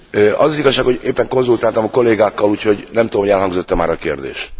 Az az igazság, hogy éppen konzultáltam a kollégákkal, így nem tudom, hogy elhangzott e már a kérdés.